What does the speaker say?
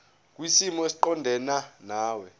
kwisimo esiqondena nawe